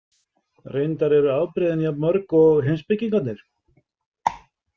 Reyndar eru afbrigðin jafn mörg og heimspekingarnir.